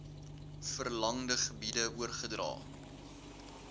verlangde gebiede oorgedra